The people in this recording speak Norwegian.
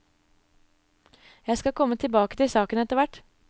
Jeg skal komme tilbake til saken etterhvert.